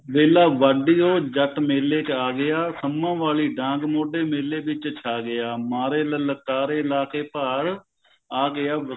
ਵੇਲਾ ਵਾਡੀ ਉਹ ਜੱਟ ਮੇਲੇ ਚ ਆ ਗਿਆ ਸੱਮਾਂ ਵਾਲਈ ਡਾਂਗ ਮੋਢੇ ਮੇਲੇ ਵਿੱਚ ਛਾ ਗਿਆ ਮਾਰੇ ਲਲਕਾਰੇ ਲਾ ਕੇ ਭਾਰ ਆ ਗਿਆ